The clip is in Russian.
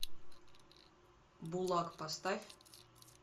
булак поставь